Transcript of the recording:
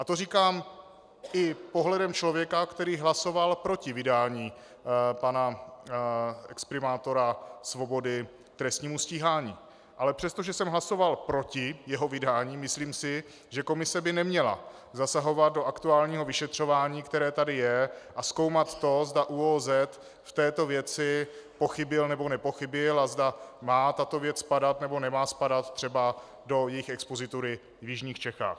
A to říkám i pohledem člověka, který hlasoval proti vydání pana exprimátora Svobody k trestnímu stíhání, ale přestože jsem hlasoval proti jeho vydání, myslím si, že komise by neměla zasahovat do aktuálního vyšetřování, které tady je, a zkoumat to, zda ÚOOZ v této věci pochybil, nebo nepochybil a zda má tato věc spadat, nebo nemá spadat třeba do jejich expozitury v jižních Čechách.